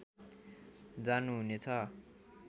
जानुहुने छ